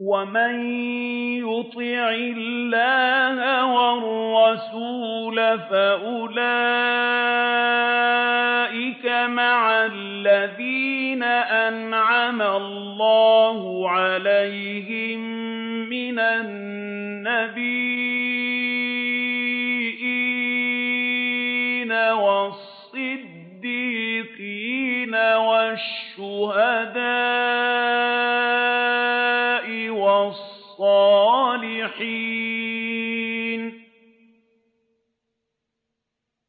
وَمَن يُطِعِ اللَّهَ وَالرَّسُولَ فَأُولَٰئِكَ مَعَ الَّذِينَ أَنْعَمَ اللَّهُ عَلَيْهِم مِّنَ النَّبِيِّينَ وَالصِّدِّيقِينَ وَالشُّهَدَاءِ وَالصَّالِحِينَ ۚ